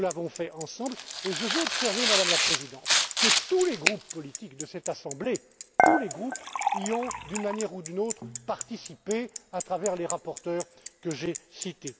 publique. Nous l'avons fait ensemble et je fais observer, Madame la Présidente, que tous les groupes politiques de cette assemblée y ont, d'une manière ou d'une autre, participé à travers les rapporteurs que